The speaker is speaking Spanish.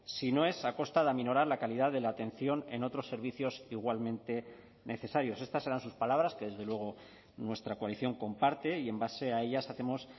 si no es a costa de aminorar la calidad de la atención en otros servicios igualmente necesarios estas eran sus palabras que desde luego nuestra coalición comparte y en base a ellas hacemos